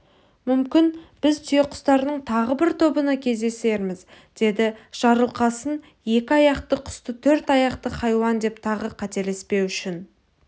мүмкін біз түйеқұстардың тағы бір тобына кездесерміз деді жарылқасынекі аяқты құсты төрт аяқты хайуан деп тағы қателеспеу үшін